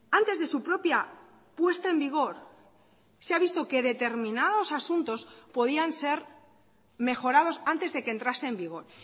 antes de su propia puesta en vigor se ha visto que determinados asuntos podían ser mejorados antes de que entrase en vigor